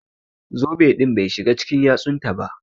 Zobe din Bai shiga cikin yatsun taba.